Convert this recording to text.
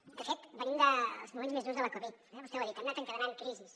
de fet venim dels moments més durs de la covid vostè ho ha dit hem anat encadenant crisis